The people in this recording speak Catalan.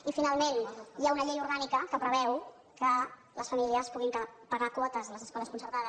i finalment hi ha una llei orgànica que preveu que les famílies puguin pagar quotes a les escoles concertades